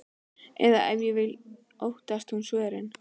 Eða ef til vill óttaðist hún svörin.